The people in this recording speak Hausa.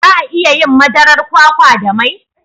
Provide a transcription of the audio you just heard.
Za a iya yin madarar kwakwa da mai?